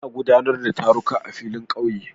Ana guɗanar da taruka a filin ƙauye